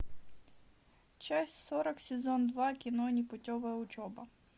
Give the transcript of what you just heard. часть сорок сезон два кино непутевая учеба